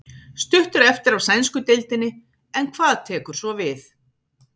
Stutt er eftir af sænsku deildinni en hvað tekur svo við?